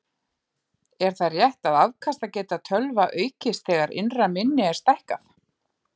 Er það rétt að afkastageta tölva aukist þegar innra minni er stækkað?